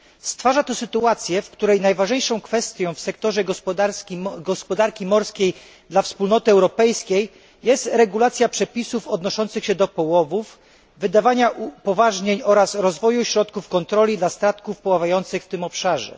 Stwarza to sytuację, w której najważniejszą kwestią w sektorze gospodarki morskiej dla Unii Europejskiej jest regulacja przepisów odnoszących się do połowów, wydawanie upoważnień oraz rozwój środków kontroli dla statków pływających w tym obszarze.